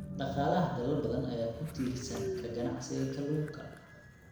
Dhaqaalaha dalal badan ayaa ku tiirsan ka ganacsiga kalluunka.